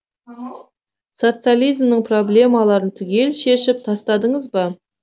социализмнің проблемаларын түгел шешіп тастадыңыз ба